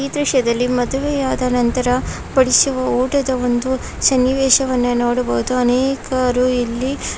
ಈ ದೃಶ್ಯದಲ್ಲಿ ಮದುವೆಯಾದ ನಂತರ ಬಡಿಸುವ ಊಟದ ಒಂದು ಸನ್ನಿವೇಶವನ್ನು ನೋಡಬಹುದು. ಅನೇಕರು ಇಲ್ಲಿ --